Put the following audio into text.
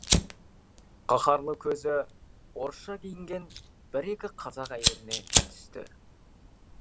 қаһарлы көзі орысша киінген бір екі қазақ әйеліне түсті